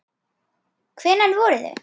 Hvenær voru þau?